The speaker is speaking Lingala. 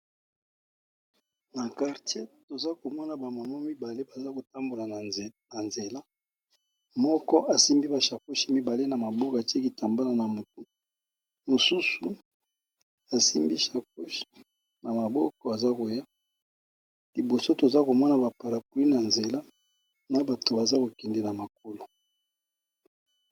Na quartier toza komona bamamwa mi2ale baza kotambola na nzela .Moko asimbi ba shakoshi mibale na maboka te kitambana na motu. Mosusu asimbi shakoshi na maboko aza koya liboso toza komona baparapui na nzela na bato baza kokendela makolo.